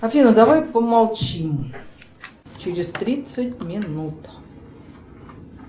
афина давай помолчим через тридцать минут